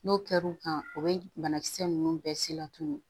N'o kɛr'u kan o bɛ banakisɛ ninnu bɛɛ se latunu